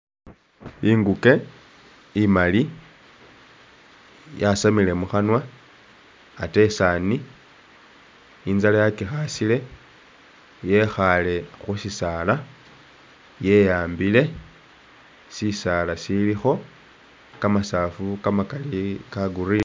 Inguke imaali yasamile mukhanwa ate isaani inzala yakikhasile, yekhaale khu sisaala ye'ambile. Sisaala silikho kamasaafu kamakaali ka'green.